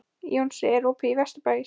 Jónsi, er opið í Vesturbæjarís?